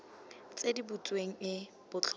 tse di butsweng e botlhokwa